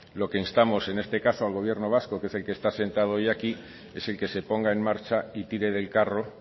lo que instamos en este caso al gobierno vasco que es el que está sentado hoy aquí es el que se ponga en marcha y tire del carro